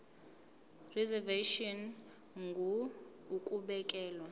reservation ngur ukubekelwa